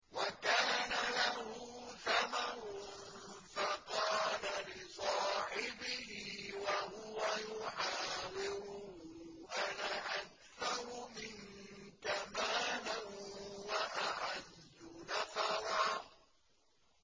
وَكَانَ لَهُ ثَمَرٌ فَقَالَ لِصَاحِبِهِ وَهُوَ يُحَاوِرُهُ أَنَا أَكْثَرُ مِنكَ مَالًا وَأَعَزُّ نَفَرًا